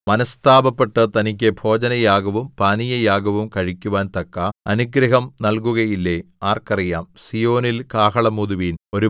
നിങ്ങളുടെ ദൈവമായ യഹോവ വീണ്ടും മനഃസ്താപപ്പെട്ട് തനിക്ക് ഭോജനയാഗവും പാനീയയാഗവും കഴിക്കുവാൻ തക്ക അനുഗ്രഹം നൽകുകയില്ലേ ആർക്കറിയാം